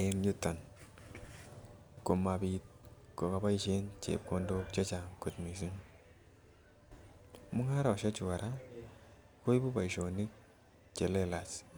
en yuton komapit kikoboishen chepkondok chechang missing , mungaroshek chuu Koraa koibun boishonik chelelach.